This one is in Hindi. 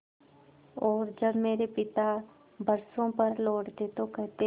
और जब मेरे पिता बरसों पर लौटते तो कहते